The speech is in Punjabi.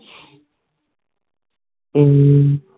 ਹੱਮ